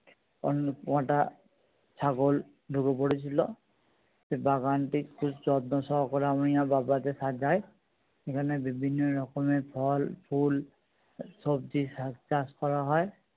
অনেক কটা ছাগল ঢুকে পড়েছিল। সেই বাগানটি খুব যত্ন সহকারে আমি আর বাবা গিয়ে সাজাই এখানে বিভিন্ন রকমের ফল ফুল সবজি শাক চাষ করা হয়।